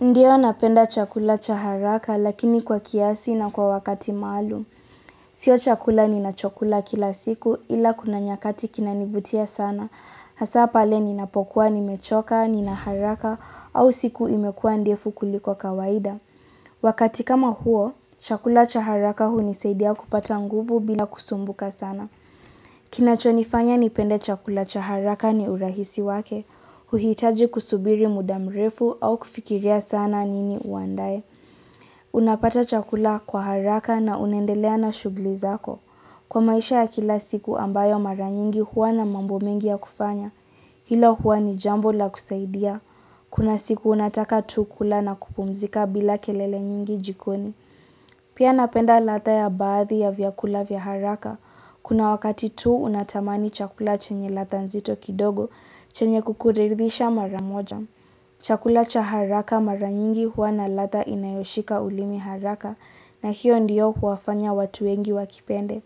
Ndiyo napenda chakula cha haraka lakini kwa kiasi na kwa wakati maalum. Sio chakula ninachokula kila siku ila kuna nyakati kinanivutia sana. Hasa pale ninapokuwa nimechoka, nina haraka au siku imekuwa ndefu kuliko kawaida. Wakati kama huo, chakula cha haraka hunisaidia kupata nguvu bila kusumbuka sana. Kinachonifanya nipende chakula cha haraka ni urahisi wake. Huhitaji kusubiri muda mrefu au kufikiria sana nini uandae Unapata chakula kwa haraka na unaendelea na shughuli zako. Kwa maisha ya kila siku ambayo mara nyingi huwa na mambo mengi ya kufanya Hilo huwa ni jambo la kusaidia. Kuna siku unataka tu kula na kupumzika bila kelele nyingi jikoni. Pia napenda ladha ya baadhi ya vyakula vya haraka Kuna wakati tu unatamani chakula chenye ladha nzito kidogo chenye kukuridhisha mara moja. Chakula cha haraka mara nyingi huwa na ladha inayoshika ulimi haraka na hiyo ndiyo huwafanya watu wengi wakipende.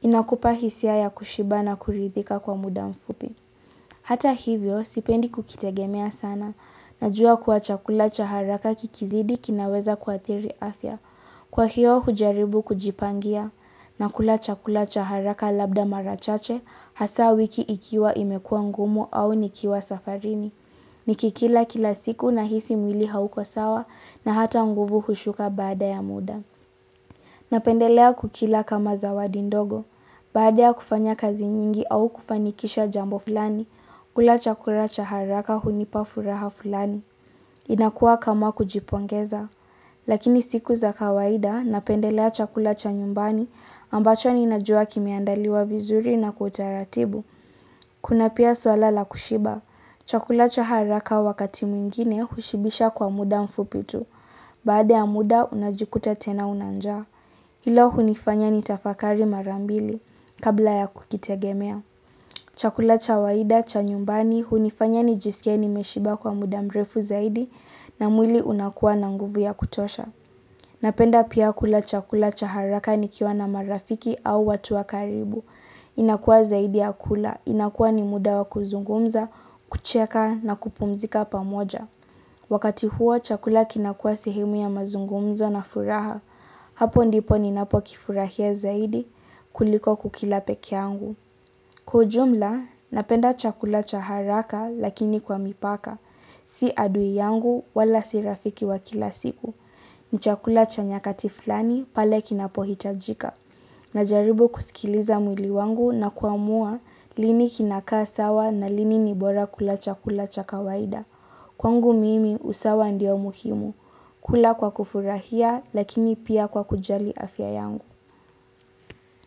Inakupa hisia ya kushiba na kuridhika kwa muda mfupi. Hata hivyo, sipendi kukitegemea sana. Najua kwa chakula cha haraka kikizidi kinaweza kuathiri afya. Kwa hiyo hujaribu kujipangia. Nakula chakula cha haraka labda mara chache hasa wiki ikiwa imekuwa ngumu au nikiwa safarini. Nikikila kila siku nahisi mwili hauko sawa na hata nguvu hushuka baada ya muda. Napendelea kukila kama zawadi ndogo. Baada ya kufanya kazi nyingi au kufanikisha jambo fulani, hula chakula cha haraka hunipa furaha fulani. Inakuwa kama kujipongeza. Lakini siku za kawaida, napendelea chakula cha nyumbani ambacho ninajua kimeandaliwa vizuri na kwa utaratibu. Kuna pia swala la kushiba. Chakula cha haraka wakati mwingine hushibisha kwa muda mfupi tu. Baade ya muda, unajikuta tena una njaa. Hilo hunifanya nitafakari mara mbili kabla ya kukitegemea. Chakula cha waida, cha nyumbani, hunifanya nijisikie nimeshiba kwa muda mrefu zaidi na mwili unakuwa na nguvu ya kutosha. Napenda pia kula chakula cha haraka nikiwa na marafiki au watu wa karibu. Inakuwa zaidi ya kula. Inakuwa ni muda wa kuzungumza, kucheka na kupumzika pamoja. Wakati huo chakula kinakuwa sehemu ya mazungumzo na furaha. Hapo ndipo ninapokifurahia zaidi kuliko kukila peke yangu. Kwa ujumla, napenda chakula cha haraka lakini kwa mipaka. Si adui yangu wala si rafiki wa kila siku. Ni chakula cha nyakati fulani pale kinapohitajika. Najaribu kusikiliza mwili wangu na kuamua lini kinakaa sawa na lini ni bora kula chakula cha kawaida. Kwangu mimi usawa ndio muhimu. Kula kwa kufurahia lakini pia kwa kujali afya yangu.